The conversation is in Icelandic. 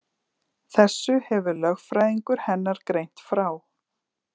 Þessu hefur lögfræðingur hennar greint frá